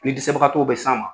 Ni dɛsɛbagatɔw bɛ s'an ma.